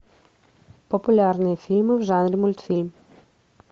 популярные фильмы в жанре мультфильм